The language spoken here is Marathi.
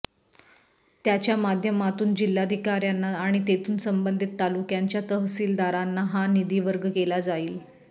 त्यांच्या माध्यमातून जिल्हाधिकाऱ्यांना आणि तेथून संबंधित तालुक्यांच्या तहसीलदारांना हा निधी वर्ग केला जाईल